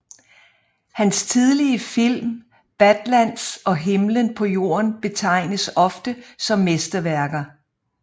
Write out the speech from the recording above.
Hans tidlige film Badlands og Himlen på jorden betegnes ofte som mesterværker